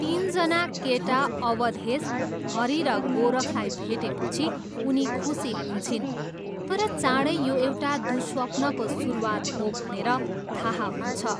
तिनजना केटा अवधेश, हरी र गोरखलाई भेटेपछि उनी खुसी हुन्छिन् तर चाँडै यो एउटा दुःस्वप्नको सुरुवात हो भनेर थाहा हुन्छ।